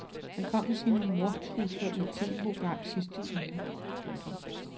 Han kom med sine mordtrusler i et TVprogram i sidste uge. punktum